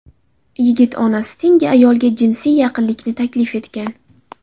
Yigit onasi tengi ayolga jinsiy yaqinlikni taklif etgan.